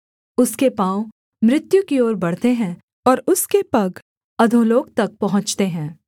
उसके पाँव मृत्यु की ओर बढ़ते हैं और उसके पग अधोलोक तक पहुँचते हैं